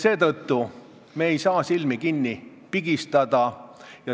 Seetõttu ei saa me silmi kinni pigistada.